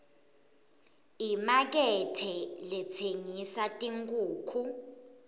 imakethe letsengisa tinkhukhu